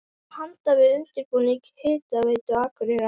Hafist handa við undirbúning Hitaveitu Akureyrar.